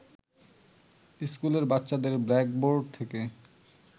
স্কুলের বাচ্চাদের ব্ল্যাকবোর্ড থেকে